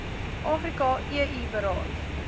afrika eu beraad